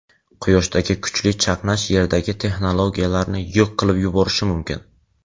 Quyoshdagi kuchli chaqnash Yerdagi texnologiyalarni yo‘q qilib yuborishi mumkin.